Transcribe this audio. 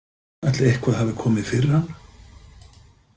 Ætli eitthvað hafi komið fyrir hana?